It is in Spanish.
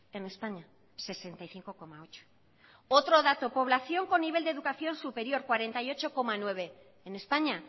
en españa sesenta y cinco coma ocho otro dato población con nivel de educación superior cuarenta y ocho coma nueve en españa